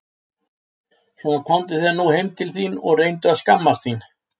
Svona komdu þér nú heim þín og reyndu að skammast þín!